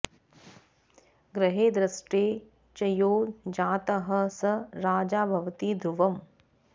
ग्रहैर्दृष्टे च यो जातः स राजा भवति ध्रुवम्